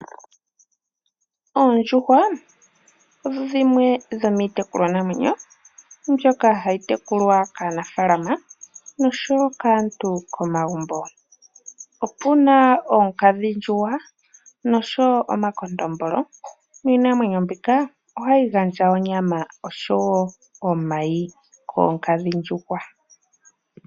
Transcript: Oondjuhwa odho dhimwe dho miitekulwanamwenyo mbyoka hayi tekulwa kaanafaalama nosho wo kaantu komagumbo. Opu na oonkadhindjuhwa noshowo omakondombolo niinamwenyo mbika ohayi gandja onyama oshowo omayi.